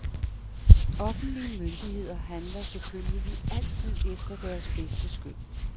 Offentlige myndigheder handler selvfølgelig altid efter deres bedste skøn.